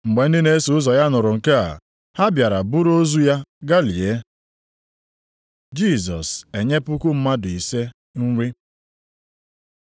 Mgbe ndị na-eso ụzọ ya nụrụ nke a, ha bịara buru ozu ya gaa lie. Jisọs enye puku mmadụ ise nri